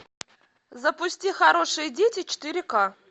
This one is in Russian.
запусти хорошие дети четыре ка